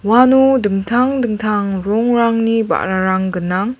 uano dingtang dingtang rongrangni ba·rarang gnang.